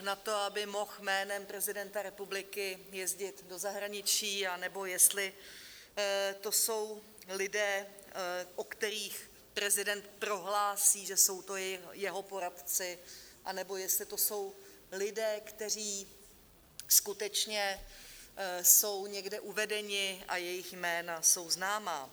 na to, aby mohl jménem prezidenta republiky jezdit do zahraničí, anebo jestli to jsou lidé, o kterých prezident prohlásí, že jsou to jeho poradci, anebo jestli to jsou lidé, kteří skutečně jsou někde uvedeni a jejich jména jsou známa.